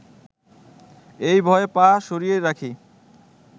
এই ভয়ে পা সরিয়ে রাখি